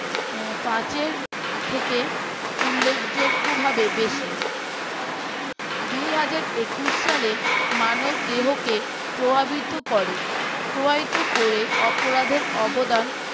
পাচ এর থেকে উল্লেখযোগ্য ভাবে বেশি দুই হাজার একুশ সালে মানব দেহকে প্রভাবিত করে প্রভাবিত করে অপরাধের অবদান